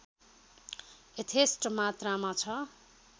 यथेष्ट मात्रामा छ